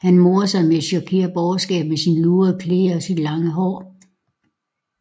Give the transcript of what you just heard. Han morede sig med at chokere borgerskabet med sine lurvede klæder og sit lange hår